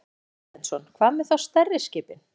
Ásgeir Erlendsson: Hvað með þá stærri skipin?